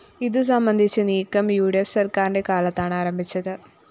ഇതു സംബന്ധിച്ച നീക്കം ഉ ഡി ഫ്‌ സര്‍ക്കാരിന്റെ കാലത്താണ് ആരംഭിച്ചത്